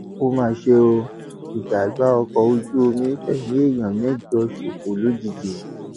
ó mà ṣe o ìjàgbá ọkọ ojú omi fẹmí èèyàn mẹjọ ṣòfò lójijì